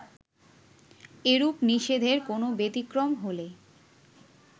এরূপ নিষেধের কোনো ব্যতিক্রম হলে